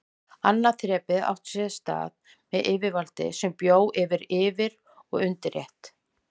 Annað þrepið átti sér stað með yfirvaldi sem bjó til yfir- og undirstétt.